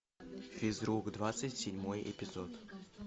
физрук двадцать седьмой эпизод